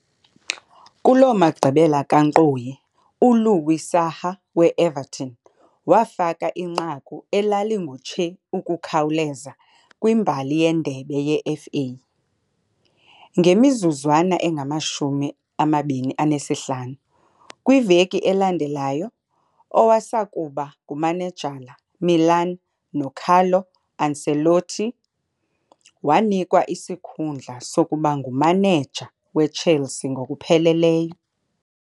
Kuloo magqibela kankqoyi, uLouis Saha we Everton wafaka inqaku elalingamatshe ukukhawuleza kwimbali yendebe yeFA, ngemizuzwana engama-25. Kwiveki elandelayo, owasakuba ngumanejala Milan noCarlo Ancelotti wanikwa isikhundla sokuba ngumaneja weChelsea ngokupheleleyo.